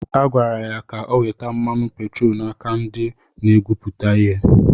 Agwara ya ka o weta mmanụ petroolu n’aka ndị na-egwupụta ihe.